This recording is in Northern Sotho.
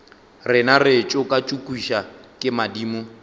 rena re tšokatšokišwa ke madimo